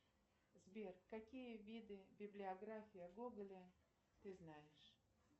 сбер какие виды библиография гоголя ты знаешь